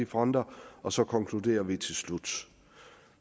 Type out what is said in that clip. fronter og så konkluderer vi til slut